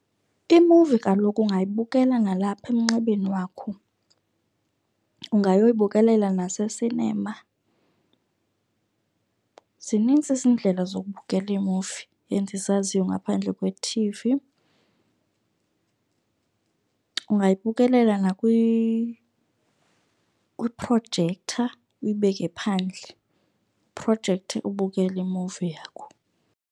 Imuvi kaloku ungayibukela nalapha emnxebeni wakho, ungayoyibukelela nasesinema. Zinintsi iindlela zokubukela iimuvi endizaziyo ngaphandle kwethivi. Ungayibukelela kwiprojektha, uyibeke phandle iprojektha ubukele imuvi yakho.